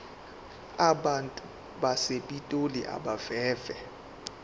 abantu basepitoli abeve